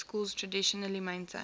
schools traditionally maintained